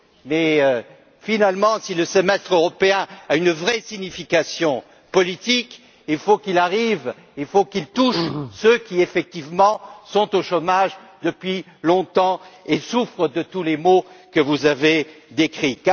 Mais, finalement, si le Semestre européen a une vraie signification politique, il faut qu'il touche ceux qui, effectivement, sont au chômage depuis longtemps et souffrent de tous les maux que vous avez décrits.